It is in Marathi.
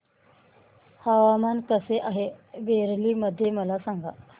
हवामान कसे आहे बरेली मध्ये मला सांगा